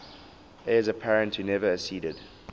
heirs apparent who never acceded